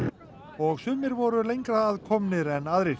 og sumir voru lengra að komnir en aðrir